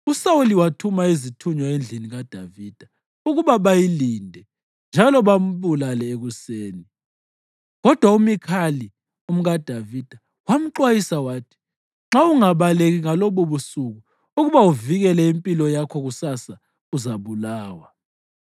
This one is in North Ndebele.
USawuli wathuma izithunywa endlini kaDavida ukuba bayilinde njalo bambulale ekuseni. Kodwa uMikhali, umkaDavida, wamxwayisa wathi, “Nxa ungabaleki ngalobubusuku ukuba uvikele impilo yakho kusasa uzabulawa.”